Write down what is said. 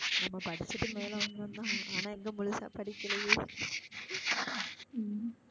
நம்ம படிச்சிட்டு மேல வந்தோம் தான் ஆனா எங்க முழுசா படிக்களையே உம்